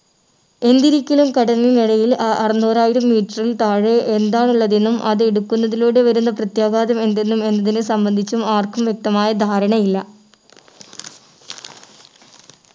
എന്തിരിക്കിലും കടലിനടിയിൽ അ അറന്നൂറായിരം meter ൽ താഴെ എന്താണുള്ളത് എന്നും അത് എടുക്കുന്നതിലൂടെ വരുന്ന പ്രത്യാഘാതം എന്തെന്നും എന്നതിനെ സംബന്ധിച്ചും ആർക്കും വ്യക്തമായ ധാരണയില്ല